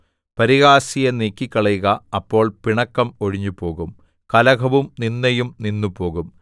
പരിഹാസിയെ നീക്കിക്കളയുക അപ്പോൾ പിണക്കം ഒഴിഞ്ഞുപോകും കലഹവും നിന്ദയും നിന്നുപോകും